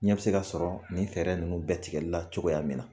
Ɲɛ bi se ka sɔrɔ nin fɛɛrɛ ninnu bɛ tigɛli la cogoya min na